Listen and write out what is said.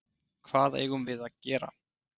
Hvað eigum við að gera?